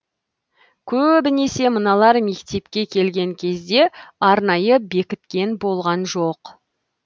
көөбінесе мыналар мектепке келген кезде арнайы бекіткен болған жоқ